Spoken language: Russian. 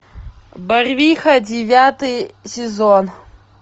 барвиха девятый сезон